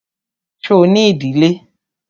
Ṣo ní ìdílé?